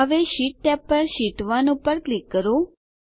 હવે sheet tab પર sheet 1 પર ક્લિક કરો